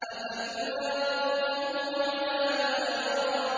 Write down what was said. أَفَتُمَارُونَهُ عَلَىٰ مَا يَرَىٰ